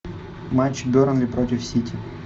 матч бернли против сити